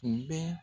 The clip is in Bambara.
U bɛ